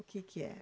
O que que era?